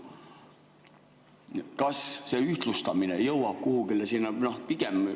Kas see ühtlustamine jõuab kuhugi sinna?